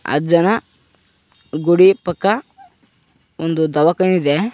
ಅಜ್ಜನ ಗುಡಿ ಪಕ್ಕ ಒಂದು ದವಖಾನೆ ಇದೆ.